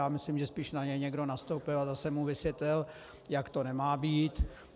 Já myslím, že spíš na něj někdo nastoupil a zase mu vysvětlil, jak to nemá být.